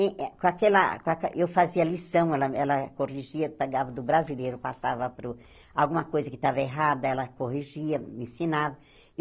In eh com aquela ca que eu fazia lição, ela ela corrigia, pegava do brasileiro, passava para o alguma coisa que estava errada, ela corrigia, me ensinava.